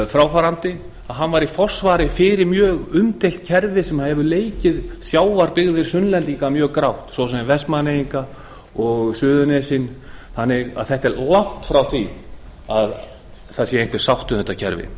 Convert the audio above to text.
fráfarandi var í forsvari fyrir mjög umdeilt kerfi sem hefur leikið sjávarbyggðir sunnlendinga mjög grátt svo sem vestmannaeyinga og suðurnesin þannig að það er langt frá því að það sé einhver sátt um þetta kerfi